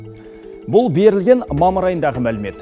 бұл берілген мамыр айындағы мәлімет